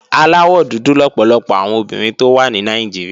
Aláwọ̀ dúdú lọ̀pọ̀lọpọ̀ àwọn obìnrin tó wà ní Nàìjíríà